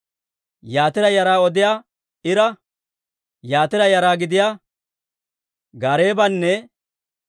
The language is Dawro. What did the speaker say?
Yatira yara gidiyaa Ira, Yatira yara gidiyaa Gaareebanne